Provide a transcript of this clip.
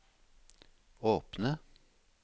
åpne